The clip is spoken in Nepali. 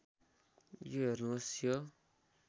यो हेर्नुहोस् यो